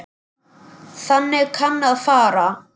Þannig kann að fara.